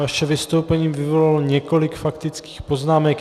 Vaše vystoupení vyvolalo několik faktických poznámek.